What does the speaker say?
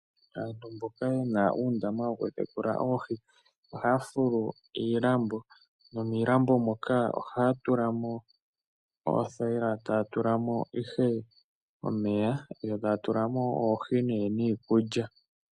Aantu mboka ye na uundama wokutekula oohi ohaya fulu iilambo nomiilambo moka ohaya tula mo oothayila taya tula mo ihe omeya yo taya tula mo oohi nee niikulya.